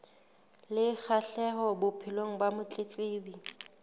le kgahleho bophelong ba motletlebi